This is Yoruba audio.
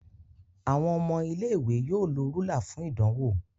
Àwon ọmọ ilé ìwé yóò ló Rúlà fún ìdánwò.